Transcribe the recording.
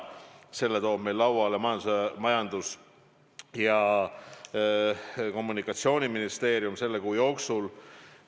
Ja selle toob Majandus- ja Kommunikatsiooniministeerium meie lauale selle kuu jooksul.